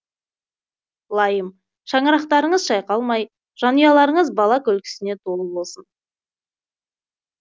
лайым шаңырақтарыңыз шайқалмай жанұяларыңыз бала күлкісіне толы болсын